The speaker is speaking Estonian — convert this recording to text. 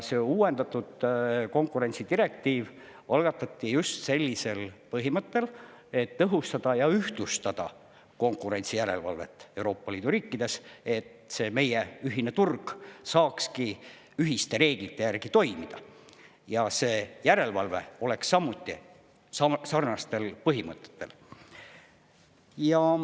See uuendatud konkurentsidirektiiv algatati just sellisel põhimõttel, et tõhustada ja ühtlustada konkurentsijärelevalvet Euroopa Liidu riikides, et see meie ühine turg saakski ühiste reeglite järgi toimida ja et see järelevalve oleks samuti sarnastel põhimõtetel.